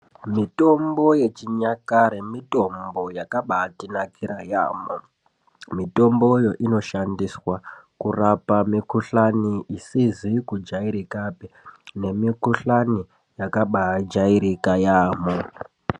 Mitombo yechinyakare Mitombo yakabaitinakire yambo mutombo uyu unoshandiswa kurapa mukuhlani isizi kujaikapi nemukuhlani yakabaijairika yambo.